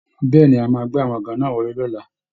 Bẹ́ẹ̀ ni, a máa gbé àwọn àga náà wọlé lọ́la